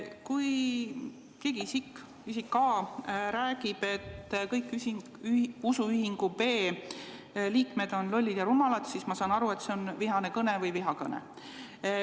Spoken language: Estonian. Kui keegi isik – isik A – räägib, et kõik usuühingu B liikmed on lollid ja rumalad, siis ma saan aru, et see on vihane kõne või vihakõne.